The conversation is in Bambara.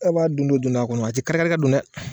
A' b'a don do don do a kɔnɔ, a te kari kari ka don dɛ!